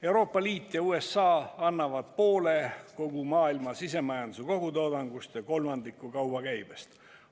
Euroopa Liit ja USA annavad poole kogu maailma sisemajanduse kogutoodangust ja kolmandiku kaubakäibest.